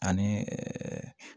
Ani